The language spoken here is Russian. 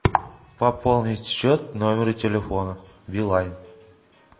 пополнить счет номера телефона билайн